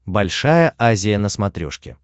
большая азия на смотрешке